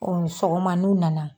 Sɔgɔma n'o nana.